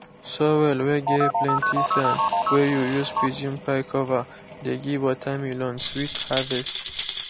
soil whey get plenty sand whey you use pigeon pea cover dey give watermelon sweet harvest